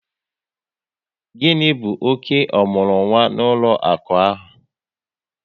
Gịni bụ ọke omurunwa n'ụlọaku ahụ?